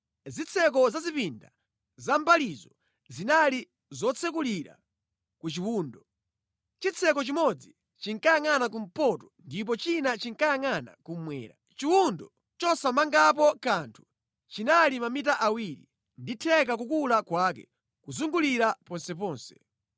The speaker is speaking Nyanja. Zitseko za zipinda zamʼmbalizo zinali zotsekulira ku chiwundo. Chitseko chimodzi chinkayangʼana kumpoto ndipo china chinkayangʼana kummwera. Chiwundo chosamangapo kanthu chinali mamita awiri ndi theka kukula kwake kuzungulira ponseponse.